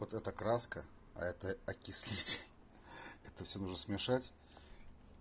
вот эта краска а это окислитель это всё нужно смешать